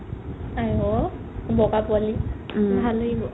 আইঔ, বগা পোৱালি ভাল লাগিব